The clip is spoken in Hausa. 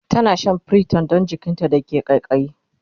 tana Shan priton Dan jikinta da ke kaikayi